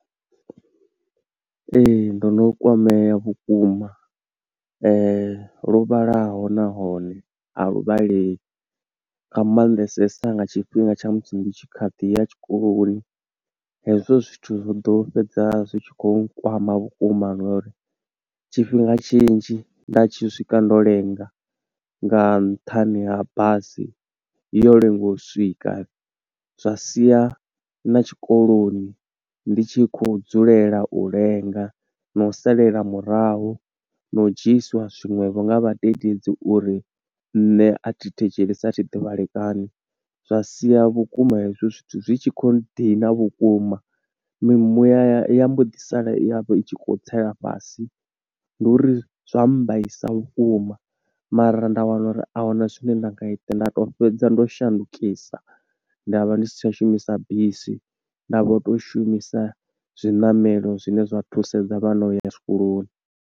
Ee, ndo no kwamea vhukuma lwo vhalaho nahone, a lu vhaleyi nga mannḓesesa nga tshifhinga tsha musi ndi tshi kha ḓi ya tshikoloni. Hezwo zwithu zwo ḓo fhedza zwi tshi khou kwama vhukuma no uri tshifhinga tshinzhi nda tshi swika ndo lenga, nga nṱhani ha basi yo lenga u swika. Zwa sia na tshikoloni ndi tshi khou dzulela u lenga, na u salela murahu, na u dzhiisiwa zwi nwe vho nga vhadededzi uri nṋe a thi thetshelesa, a thi ḓivhalekani. Zwa sia vhukuma hezwo zwithu zwi tshi khou dina vhukuma, mimuya mbo ḓi sala itshi khou tsela fhasi, ndi uri zwa mbaisa vhukuma, mara nda wana uri ahuna zwine nda nga ita. Nda to fhedza ndo shandukisa, nda vha ndi si tsha shumisa bisi, nda vho to shumisa zwiṋamelo zwine zwa thusedza vhana uya zwikoloni.